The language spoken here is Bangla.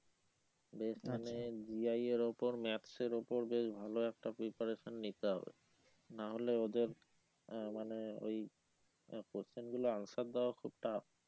বেশ মানে G. I. এর উপর maths এর উপর বেশ ভালো একটা preparation নিতে হবে না হলে ওদের আহ মানে ওইআহ question গুলো answer দেওয়া খুব tough